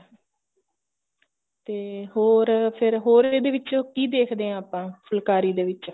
ਤੇ ਹੋਰ ਫੇਰ ਹੋਰ ਇਹਦੇ ਵਿੱਚ ਕਿ ਦੇਖਦੇ ਆ ਆਪਾਂ ਫੁਲਕਾਰੀ ਦੇ ਵਿੱਚ